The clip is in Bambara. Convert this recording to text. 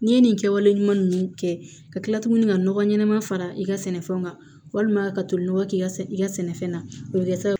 N'i ye nin kɛwale ɲuman ninnu kɛ ka kila tuguni ka nɔgɔ ɲɛnɛma fara i ka sɛnɛfɛnw kan walima ka tolinɔgɔ k'i ka i ka sɛnɛfɛn na o bɛ kɛ sababu ye